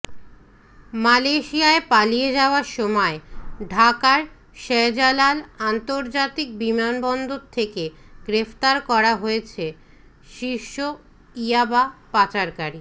মালয়েশিয়ায় পালিয়ে যাওয়ার সময় ঢাকার শাহজালাল আন্তর্জাতিক বিমানবন্দর থেকে গ্রেফতার করা হয়েছে শীর্ষ ইয়াবা পাচারকারী